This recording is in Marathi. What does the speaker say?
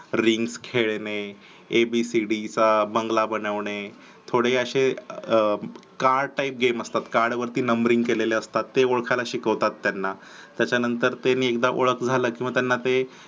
ring खेळणे ए बी सी डी चा बंगला बनवणे थोडे असे हे card type game असतात मग card वरती numbering केलेली असतात. ते ओळखायला शिकवतात. त्याच्यानंतर ते ओळख झाला की ते